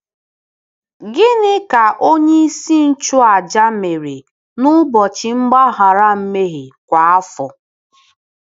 Gịnị ka onyeisi nchụàjà mere n’Ụbọchị Mgbaghara Mmehie kwa afọ?